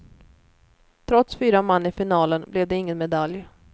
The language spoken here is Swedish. Trots fyra man i finalen blev det ingen medalj.